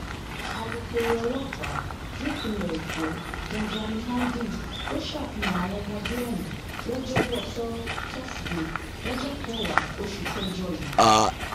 alūkkóró ọlọpàá nípìnlẹ èkó benjamin hondyin ló ṣàfihàn àwọn ọmọdé ọhún lọjọbọtò tóṣìdéé lọjọ kẹwàá oṣù kẹjọ yìí